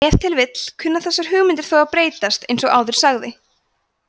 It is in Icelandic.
ef til vill kunna þessar hugmyndir þó að breytast eins og áður sagði